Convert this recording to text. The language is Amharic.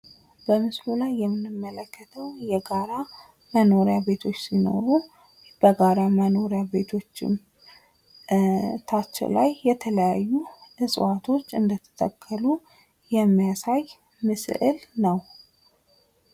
በምስሉ ላይ የምንለክተው የጋራ መኖሪያ ቤቶች ሲሆኑ በጋራ መኖሪያ ቤቶቹም ታች ላይ የተለያዩ እጽዋቶች እንድተተከሉ የሚያሳይ ምስል ነው።